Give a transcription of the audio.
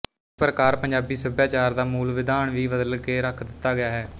ਇਸ ਪ੍ਰਕਾਰ ਪੰਜਾਬੀ ਸਭਿਆਚਾਰ ਦਾ ਮੂਲ ਵਿਧਾਨ ਵੀ ਬਦਲ ਕੇ ਰੱਖ ਦਿੱਤਾ ਹੈ